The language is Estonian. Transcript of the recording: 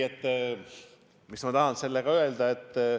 Mis ma tahan sellega öelda?